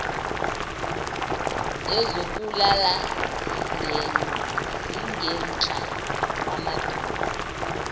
ezokulala zingenhla kwamadolo